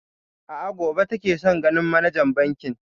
A'a, gobe take son ganin manajan bankin.